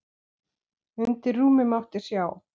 Undir rúmi mátti sjá.